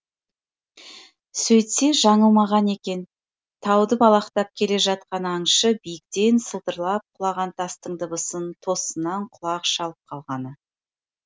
сөйтсе жаңылмаған екен тауды балақтап келе жатқан аңшы биіктен сылдырлап құлаған тастың дыбысын тосыннан құлағы шалып қалғаны